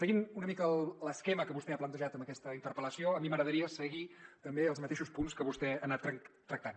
seguint una mica l’esquema que vostè ha plantejat amb aquesta interpel·lació a mi m’agradaria seguir també els mateixos punts que vostè ha anat tractant